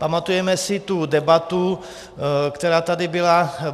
Pamatujeme si tu debatu, která tady byla.